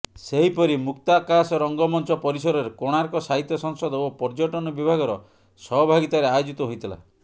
ସେହିପରି ମୁକ୍ତାକାଶ ରଙ୍ଗମଞ୍ଚ ପରିସରରେ କୋଣାର୍କ ସାହିତ୍ୟ ସଂସଦ ଓ ପର୍ଯ୍ୟଟନ ବିଭାଗର ସହଭାଗିତାରେ ଆୟୋଜିତ ହୋଇଥିଲା